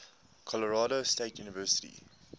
colorado state university